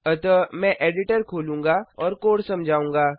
अतः मैं एडिटर खोलूँगा और कोड समझाऊँगा